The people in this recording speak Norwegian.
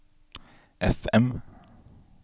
FM